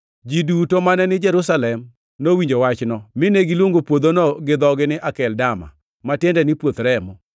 Ji duto mane ni Jerusalem nowinjo wachno, mine giluongo puodhono gi dhogi ni Akeldama, ma tiende ni, Puoth Remo.